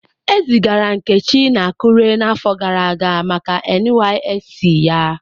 Ezigara Nkechi na Akure n'afọ gara aga maka NYSC ya.